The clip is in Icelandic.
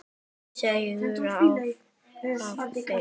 Segðu af þér!